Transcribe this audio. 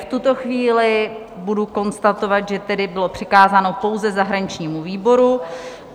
V tuto chvíli budu konstatovat, že tedy bylo přikázáno pouze zahraničnímu výboru.